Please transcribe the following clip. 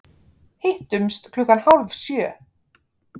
Hittumst klukkan hálf sjö.